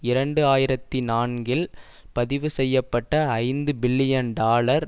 இரண்டு ஆயிரத்தி நான்கில் பதிவு செய்ய பட்ட ஐந்து பில்லியன் டாலர்